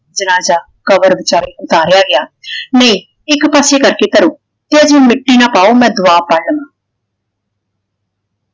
ਜਨਾਜਾ ਕਬਰ ਵਿਚਾਲੇ ਉਤਾਰਿਆ ਗਿਆ ਨੇ ਇਕ ਪਾਸੇ ਕਰਕੇ ਕਰੋ ਤੇ ਹਜੇ ਮਿੱਟੀ ਨਾ ਪਾਓ ਮੈਂ ਦਵਾ ਪਾ ਲਵਾ।